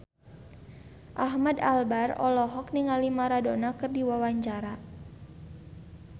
Ahmad Albar olohok ningali Maradona keur diwawancara